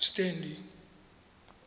stanley